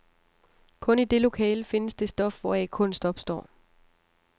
Kun i det lokale findes det stof, hvoraf kunst opstår.